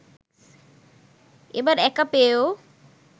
এবার একা পেয়েও